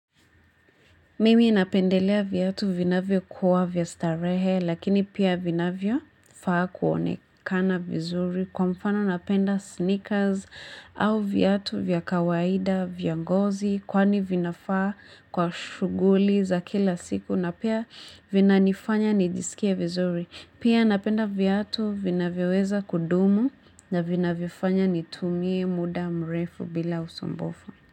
Mimi napendelea viatu vinavyo kuwa vya starehe lakini pia vinavyo faa kuonekana vizuri kwa mfano napenda sneakers au viatu vyakawaida vyangozi kwani vinafaa kwa shughuli za kila siku na pia vinanifanya nijisikie vizuri. Pia napenda viatu vinavyo weza kudumu na vinavyo fanya nitumie muda mrefu bila usumbufu.